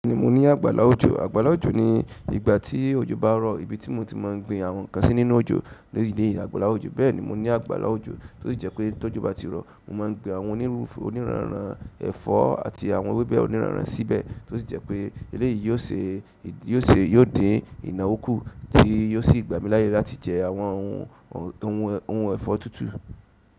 Bẹ́ẹ̀ni mo ní àgbàlá òjò. Àgbàlá òjò ni ìgbà tí òjò bá rọ̀, ibi tí mo ti máa ń gbin àwọn nǹkan sí nínú òjò lórí ilẹ̀ àgbàlá òjò. Bẹ́ẹ̀ni mo ní àgbàlá òjò tó sì jẹ́ pé tí ọjọ́ bá ti rọ̀, mo máa ń gbin àwọn onírúurú oníràn-ran ẹ̀fọ́ àti àwọn ewébẹ̀ oníràn-ran síbẹ̀ tó sì jẹ́ pé eléyìí yóò ṣe, yóò ṣe, yóò dín ìnáwó kú tí yóò sì gbà mí láyè láti jẹ àwọn ohun, ohun, ohun ẹ̀fọ́ tútù.